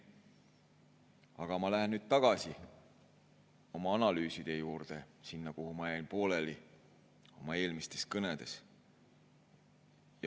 Aga ma lähen nüüd tagasi oma analüüside juurde, selle juurde, kus ma jäin pooleli oma eelmistes kõnedes.